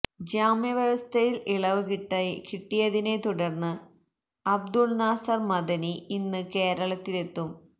ജാമ്യവ്യവസ്ഥയില് ഇളവ് കിട്ടിയതിനെ തുടര്ന്ന് അബ്ദുള് നാസര് മദനി ഇന്ന് കേരളത്തിലെത്തും